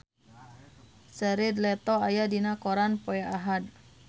Jared Leto aya dina koran poe Ahad